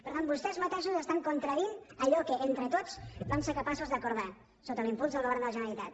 per tant vostès mateixos estan contradient allò que entre tots vam ser capaços d’acordar sota l’impuls del govern de la generalitat